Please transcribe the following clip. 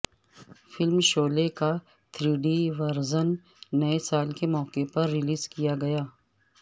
film Sholay کا three D version نئے سال کے موقعے پر ریلیز کیا گیا